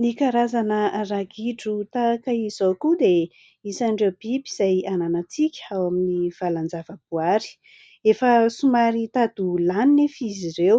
Ny karazana ragidro tahaka izao koa dia isan'ireo biby izay hananantsika ao amin'ny valan-javaboary, efa somary mitady ho lany nefa izy ireo